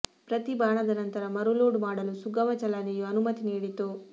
ಪ್ರತಿ ಬಾಣದ ನಂತರ ಮರುಲೋಡ್ ಮಾಡಲು ಸುಗಮ ಚಲನೆಯು ಅನುಮತಿ ನೀಡಿತು